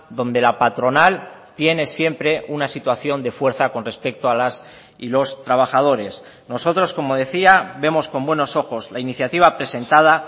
donde la patronal tiene siempre una situación de fuerza con respecto a las y los trabajadores nosotros como decía vemos con buenos ojos la iniciativa presentada